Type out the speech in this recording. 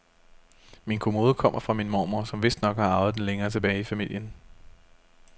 Min kommode kommer fra min mormor, som vistnok har arvet den længere tilbage i familien.